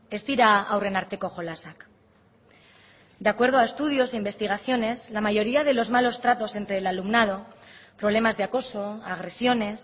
ez dira haurren arteko jolasak de acuerdo a estudios e investigaciones la mayoría de los malos tratos entre el alumnado problemas de acoso agresiones